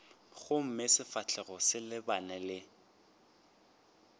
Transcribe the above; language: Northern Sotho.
gomme sefahlogo se lebane le